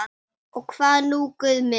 Og hvað nú Guð minn?